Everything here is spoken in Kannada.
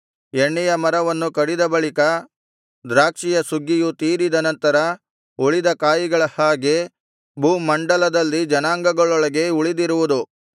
ಎಣ್ಣೆಯ ಮರವನ್ನು ಕಡಿದ ಬಳಿಕ ದ್ರಾಕ್ಷಿಯ ಸುಗ್ಗಿಯು ತೀರಿದ ನಂತರ ಉಳಿದ ಕಾಯಿಗಳ ಹಾಗೆ ಭೂಮಂಡಲದಲ್ಲಿ ಜನಾಂಗಗಳೊಳಗೆ ಉಳಿದಿರುವುದು